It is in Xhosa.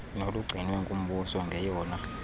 nolugcinwe ngumbuso ngeyona